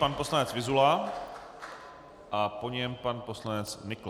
Pan poslanec Vyzula a po něm pan poslanec Nykl.